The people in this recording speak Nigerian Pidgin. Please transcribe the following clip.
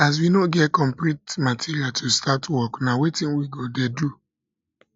as we no get the complete material to start work na wetin we go dey do